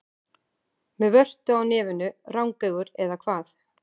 Með vörtu á nefinu, rangeygur, eða hvað?